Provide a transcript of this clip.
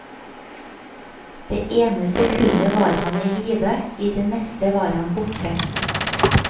Det ene sekundet var han i live, i det neste var han borte.